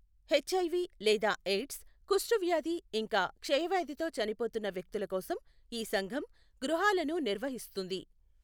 HIV లేదా AIDS, కుష్టువ్యాధి ఇంకా క్షయవ్యాధితో చనిపోతున్న వ్యక్తుల కోసం ఈ సంఘం గృహాలను నిర్వహిస్తుంది.